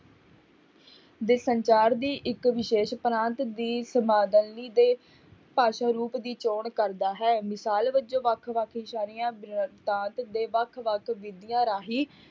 ਦੇ ਸੰਚਾਰ ਦੀ ਇੱਕ ਵਿਸ਼ੇਸ਼ ਪ੍ਰਾਂਤ ਦੀ ਦੇ ਭਾਸ਼ਾ ਰੂਪ ਦੀ ਚੌਣ ਕਰਦਾ ਹੈ, ਮਿਸਾਲ ਵਜੋਂ ਵੱਖ ਵੱਖ ਦੇ ਵੱਖ ਰਾਹੀਂ,